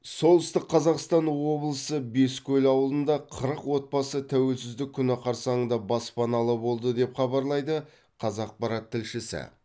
солтүстік қазақстан облысы бескөл ауылында қырық отбасы тәуелсіздік күні қарсаңында баспаналы болды деп хабарлайды қазақпарат тілшісі